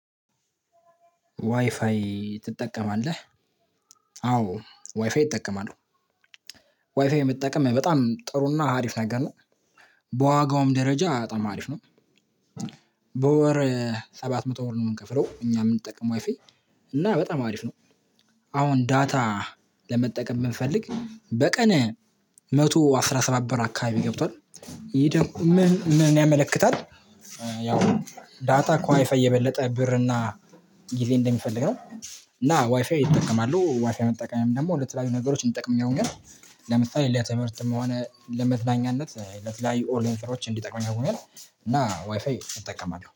ዋይፋይ ትጠቀማለህ? አዎ ዋይፋይ እጠቀማለሁ። ዋይፋይ መጠቀም በጣም ጥሩና አሪፍ ነገር ነው። በዋጋውም ደረጃ በጣም አሪፍ ነው። በወር ሰባት መቶ ብር ነው የምንከፍለው እኛ የምንጠቀመው ዋይፋይ። እና በጣም አሪፍ ነው። አሁን ዳታ ለመጠቀም ብንፈልግ በቀን አንድ መቶ አስራ ሰባት ብር አካባቢ ገብቷል ይሄ ደግሞ ምን ያመለክታል? ያው ዳታ ከዋይፋይ የበለጠ ብር እና ጊዜ እንደሚፈልግ ነው እና ዋይፋይ ይጠቀማሉ ዋይፋይ መጠቀምም ደግሞ ለተለያዩ ነገሮች እንጠቀምኛለን ግን። ለምሳሌ ለትምህርትም ሆነ ለመዝናኛነት ለተለያዩ ኦንላይን ስራወች እንዲጠቅመኝ አርጎኛል። እና ዋይፋይ እጠቀማለሁ